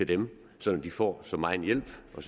dem så de får så meget hjælp og